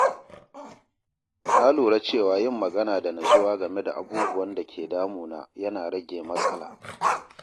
Na lura cewa yin magana da natsuwa game da abubuwan da ke damuna yana rage matsala.